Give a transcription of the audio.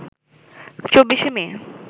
২৪শে মে